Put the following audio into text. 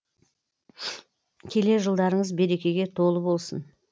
келер жылдарыңыз берекеге толы болсын